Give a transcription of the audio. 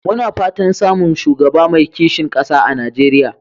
Muna fatan samun shugaba mai kishin ƙasa a Najeriya.